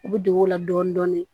U bɛ don o la dɔɔnin dɔɔnin